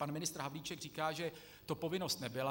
Pan ministr Havlíček říká, že to povinnost nebyla.